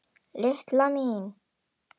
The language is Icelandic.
LILLA MÍN!